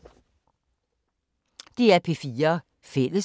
DR P4 Fælles